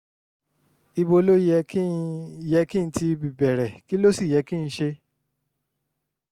ibo ló yẹ kí n yẹ kí n ti bẹ̀rẹ̀ kí ló sì yẹ kí n ṣe?